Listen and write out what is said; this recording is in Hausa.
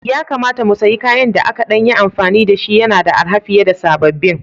Ya kamata mu sayi kayan da aka ɗan yi amfani da shi, yana da arha fiye da sababbin